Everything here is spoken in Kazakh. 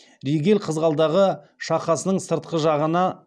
регель қызғалдағы шақасының сыртқы жағына